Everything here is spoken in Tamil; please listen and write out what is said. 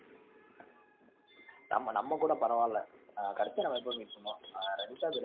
ஆமாம். நம்ம கூட பரவா இல்ல. ஆஹ் கடைசியா நம்ம எப்போ meet பண்ணோம்?